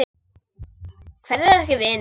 Hverjir eru ekki vinir?